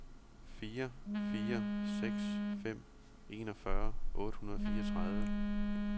fire fire seks fem enogfyrre otte hundrede og fireogtredive